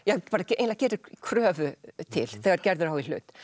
eiginlega gerir kröfu til þegar Gerður á í hlut